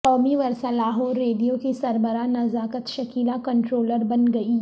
قومی ورثہ لاہور ریڈیو کی سربراہ نزاکت شکیلہ کنٹرولر بن گئیں